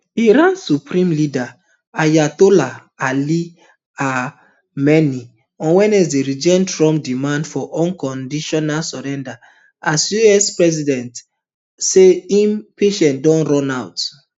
iran supreme leader ayatollah ali amenei on wednesday reject trump demand for unconditional surrender as us president say im patience dey run out